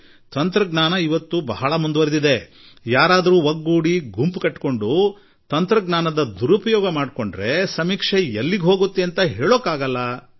ಈಗಂತೂ ತಂತ್ರಜ್ಞಾನ ಎಷ್ಟು ಬದಲಾಗಿಬಿಟ್ಟಿದೆ ಎಂದರೆ ಯಾರಾದರೂ ಒಗ್ಗೂಡಿ ಒಂದು ಕೂಟ ಕಟ್ಟಿಕೊಂಡು ಹಾಗೂ ತಂತ್ರಜ್ಞಾನದ ದುರುಪಯೋಗ ಮಾಡಿಕೊಂಡರೆ ಸಮೀಕ್ಷೆ ಎಲ್ಲಿ ಹೋಗಿ ಮುಟ್ಟುತ್ತದೆ ಎಂದು ಪ್ರಶ್ನಿಸಿದರು